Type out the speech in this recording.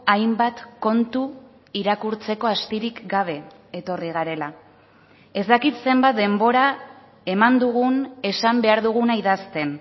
hainbat kontu irakurtzeko astirik gabe etorri garela ez dakit zenbat denbora eman dugun esan behar duguna idazten